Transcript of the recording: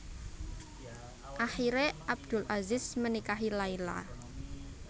Akhire Abdul Aziz menikahi Laila